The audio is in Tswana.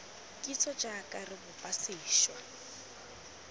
kitso jaaka re bopa sešwa